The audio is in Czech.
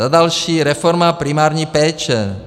Za další, reforma primární péče.